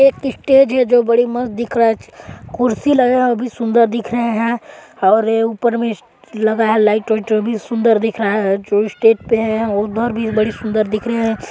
यह एक स्टेज है जो बड़ी मस्त दिख रहा है कुर्सी लगा है वो भी बहुत सुंदर दिख रहे हैं और ये ऊपर में लगा है लाइट वाइट वो भी सुंदर दिख रहे हैं जो स्टेज पे है वो भी सुंदर दिख रहे हैं।